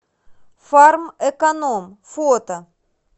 фармэконом фото